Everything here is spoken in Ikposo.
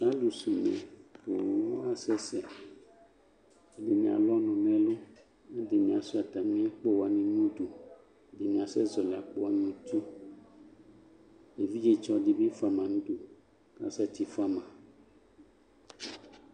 Alʋsɛ une nʋ owu la asɛsɛ Ɛdɩnɩ alʋ ɔnʋ nʋ ɛlʋ Ɛdɩnɩ asʋɩa atamɩ akpo wanɩ nʋ udu Ɛdɩnɩ asɛzɔɣɔlɩ akpo wanɩ nʋ uti Evidzetsɔ dɩ bɩ fʋa ma nʋ udu, asɛtɩ fʋa ma